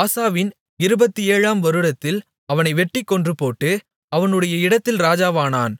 ஆசாவின் 27 ஆம் வருடத்தில் அவனை வெட்டிக் கொன்றுபோட்டு அவனுடைய இடத்தில் ராஜாவானான்